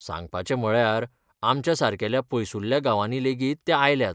सांगपाचें म्हळ्यार, आमच्या सारकेल्या पयसुल्ल्या गांवांनी लेगीत ते आयल्यात.